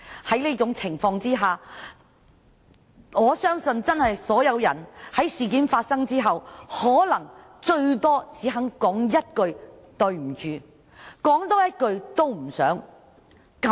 因為這條的緣故，我相信所有人在事件發生後，可能頂多只肯說一句"對不起"，根本不想再多言。